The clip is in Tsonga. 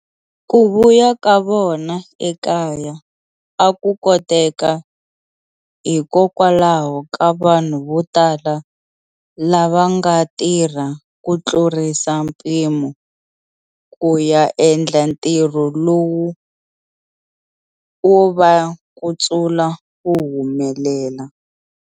Ku vuya ka vona ekaya a ku koteka hikokwalaho ka vanhu vo tala lava nga tirha ku tlurisa mpimo ku ya endla ntirho lowu wo va kutsula wu humelela.